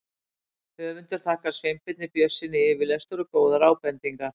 Höfundur þakkar Sveinbirni Björnssyni yfirlestur og góðar ábendingar.